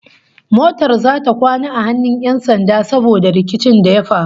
Motar zata kwana a hannun 'yan sanda saboda rikicin da ya faru